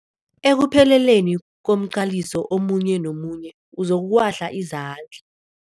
Ekupheleleni komqaliso omunye nomunye uzokuwahla izandla.